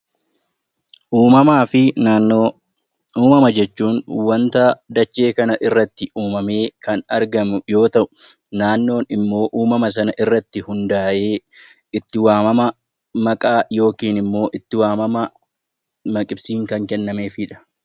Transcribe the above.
Uumamuma jechuun wanta dachee kana irratti uumamee kan argamu yoo ta'u, naannoon immoo uumama sanarratti hundaa'ee itti waamama maqaa yookiin itti waamama maqibsiin kan kennameefidha.